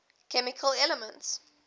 chemical elements